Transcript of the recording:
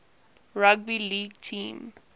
rugby league team